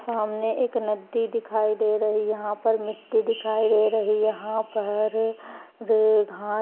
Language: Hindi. सामने एक नदी दिखाई दे रही। यहाँ पर मिट्टी दिखाई दे रही। यहाँ पर रे घां --